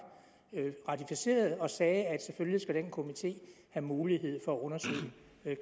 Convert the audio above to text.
ratificerede og sagde at selvfølgelig skal den komité have mulighed for at undersøge